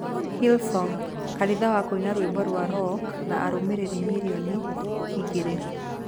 Hillsong: Kanitha wa kũina rwĩmbo rwa rock na arũmĩrĩri milioni 2